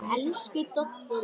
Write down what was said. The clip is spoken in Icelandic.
Elsku Doddi minn.